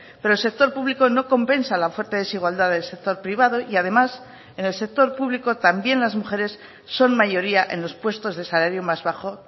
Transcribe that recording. pero el sector público no compensa la oferta desigualdad del sector privado y además en el sector público también las mujeres son mayoría en los puestos de salario más bajo